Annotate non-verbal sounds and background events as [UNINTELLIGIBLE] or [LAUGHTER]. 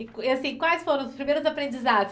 [UNINTELLIGIBLE] E assim, quais foram os primeiros aprendizados?